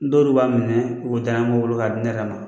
Dɔl b'a minɛ u be daɲɛbo wolo k'a di ne yɛrɛ ma.